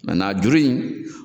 mɛnna juru in